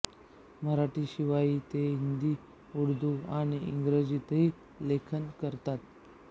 मराठीशिवाय ते हिंदी उर्दू आणि इंग्रजीतही लेखन करतात